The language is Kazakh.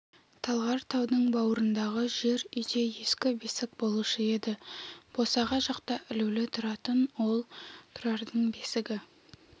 талғар таудың бауырындағы жер үйде ескі бесік болушы еді босаға жақта ілулі тұратын ол тұрардың бесігі